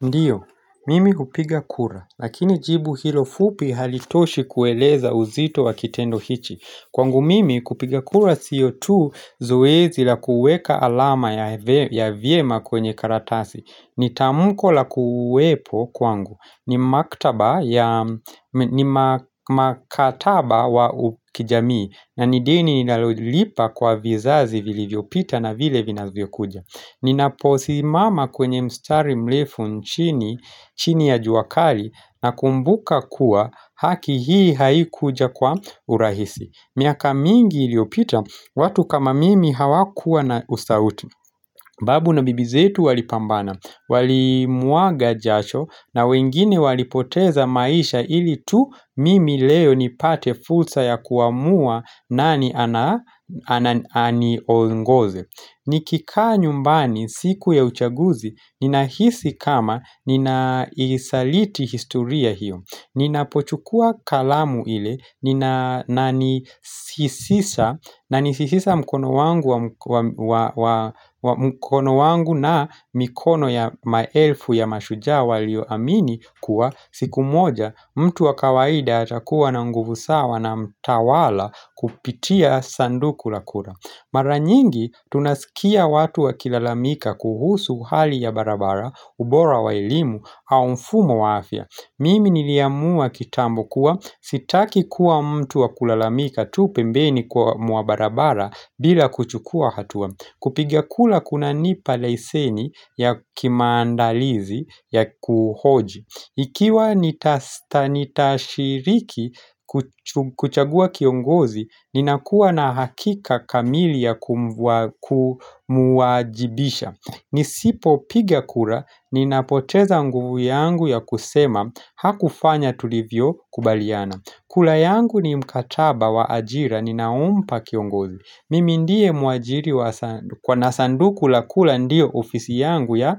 Ndiyo, mimi kupiga kura, lakini jibu hilo fupi halitoshi kueleza uzito wa kitendo hichi Kwangu mimi kupiga kura sio tu zoezi la kuweka alama ya vyema kwenye karatasi ni tamko la kuwepo kwangu, ni makataba wa ukijamii na ni deni nilolipa kwa vizazi vilivyopita na vile vinavyokuja Ninaposimama kwenye mstari mlefu nchini ya juakali nakumbuka kuwa haki hii haikuja kwa urahisi miaka mingi iliopita, watu kama mimi hawakuwa na ustauti Babu na bibi zetu walipambana, walimwaga jasho na wengine walipoteza maisha ilitu mimi leo nipate fulsa ya kuamua nani aniongoze Nikika nyumbani siku ya uchaguzi ninahisi kama ninaisaliti historia hiyo. Ninapochukua kalamu ile na nisisisa mkono wangu na mikono ya maelfu ya mashujaa walio amini kuwa siku moja mtu wa kawaida atakuwa na nguvu sawa na mtawala kupitia sanduku la kura. Mara nyingi tunasikia watu wakilalamika kuhusu hali ya barabara, ubora wa elimu au mfumo wa afya Mimi niliamua kitambo kuwa sitaki kuwa mtu wa kulalamika tu pembeni kwa mwa barabara bila kuchukua hatua kupigia kula kunanipa leseni ya kimandalizi ya kuhoji Ikiwa nitashiriki kuchagua kiongozi, ninakuwa na hakika kamili ya kumuajibisha Nisipopigima kura, ninapoteza nguvu yangu ya kusema, hakufanya tulivyokubaliana kura yangu ni mkataba wa ajira, ninaumpa kiongozi Mimi ndiye muajiri kwa nasanduku la kura ndiyo ofisi yangu ya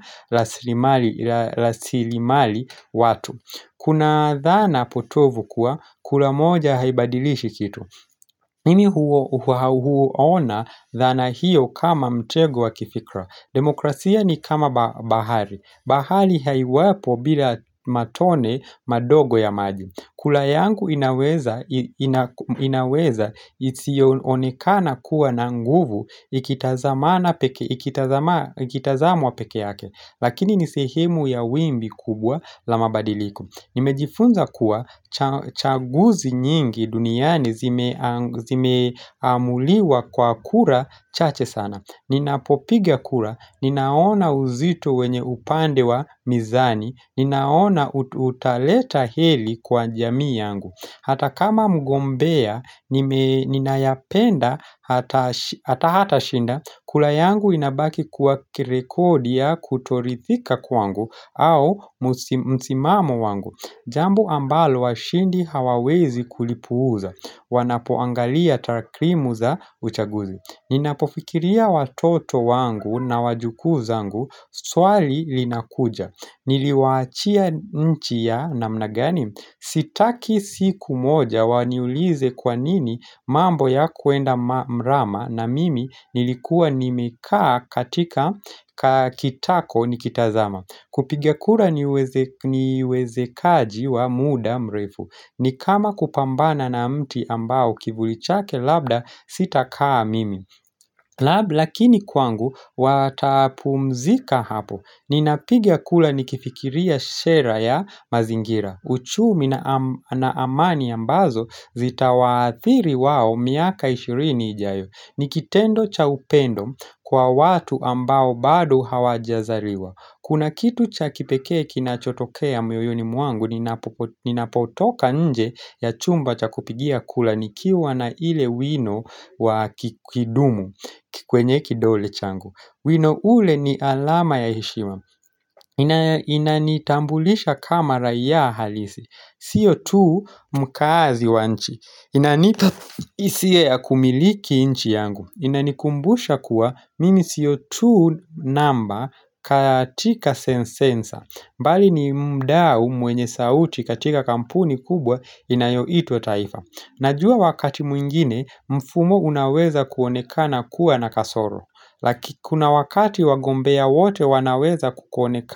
lasilimali watu Kuna dhana potovu kuwa, kura moja haibadilishi kitu mimi huu ona dhana hiyo kama mtego wa kifikra Demokrasia ni kama bahari bahari haiwapo bila matone madogo ya maji kura yangu inaweza isiyoonekana kuwa na nguvu ikitazamwa peke yake Lakini ni sehemu ya wimbi kubwa la mabadiliku Nimejifunza kuwa chaguzi nyingi duniani zimeamuliwa kwa kura chache sana Ninapopiga kura, ninaona uzito wenye upande wa mizani Ninaona utaleta heli kwa jamii yangu Hata kama mgombea Ninayapenda hata hatashinda kura yangu inabaki kuwa kirekodia kutoridhika kwangu au msimamo wangu Jambo ambalo washindi hawawezi kulipuza Wanapoangalia takrimu za uchaguzi Ninapofikiria watoto wangu na wajukuu zangu Swali linakuja Niliwaachia nchi ya namna gani sitaki siku moja waniulize kwa nini mambo yakuenda mrama na mimi nilikuwa nimekaa katika kitako nikitazama kupiga kura ni wezekaji wa muda mrefu ni kama kupambana na mti ambao kivuli chake labda sitakaa mimi Lab lakini kwangu watapumzika hapo. Ninapiga kula nikifikiria shera ya mazingira. Uchumi na amani ambazo zitawaathiri wao miaka ishirini ijayo. Ni kitendo cha upendo kwa watu ambao bado hawajazaliwa. Kuna kitu cha kipekee kinachotokea mwoyoni mwangu, ninapotoka nje ya chumba cha kupigia kula nikiwa na ile wino wa kikidumu kwenye kidole changu. Wino ule ni alama ya heshima. Inanitambulisha kama raia halisi. Sio tu mkaazi wa nchi. Inanipa hisia kumiliki nchi yangu. Inanikumbusha kuwa mimi siyo tu namba katika sensensa mbali ni mdao mwenye sauti katika kampuni kubwa inayoitwa taifa Najua wakati mwingine mfumo unaweza kuonekana kuwa na kasoro Lakikuna wakati wagombea wote wanaweza kukonekana.